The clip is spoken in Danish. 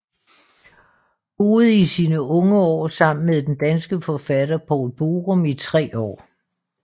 Boede i sine unge år sammen med den danske forfatter Poul Borum i tre år